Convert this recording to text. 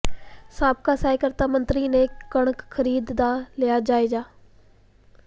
ਸਾਬਕਾ ਸਹਿਕਾਰਤਾ ਮੰਤਰੀ ਨੇ ਕਣਕ ਖਰੀਦ ਦਾ ਲਿਆ ਜਾਇਜ਼ਾ